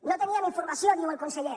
no teníem informació diu el conseller